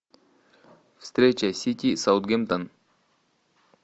встреча сити саутгемптон